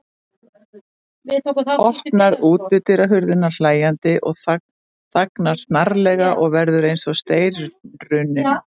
Opnar útidyrahurðina hlæjandi en þagnar snarlega og verður eins og steinrunninn.